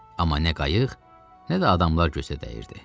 Amma nə qayıq, nə də adamlar gözə dəyirdi.